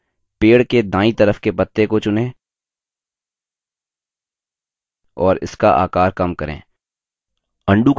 उदहारणस्वरूप पेड़ के दायीं तरफ के पत्ते को चुनें और इसका आकार कम करें